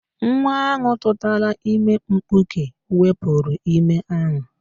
Nwa ahụ tụtara ime mkpuke wepuru ime ahụ